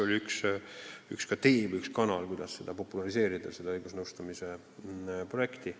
Oli see ju ka võimalus õigusnõustamise projekti populariseerida,.